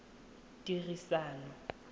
ditiriso